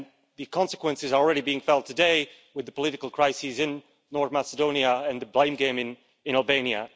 The consequences are already being felt today with the political crisis in Northern Macedonia and the blame game in in Albania.